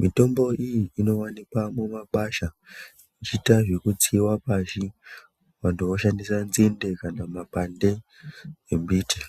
mitombo iyi inowanikwa mumakwasha, ichiita zvekutsiiwa pashi vantu voshandisa nzinde kana makwande emiti.